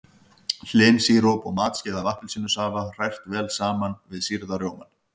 Hlynsíróp og matskeið af appelsínusafa hrært vel saman við sýrða rjómann.